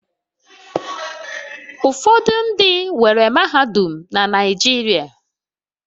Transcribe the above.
Ụfọdụ ndị nwere mahadum na Naịjirịa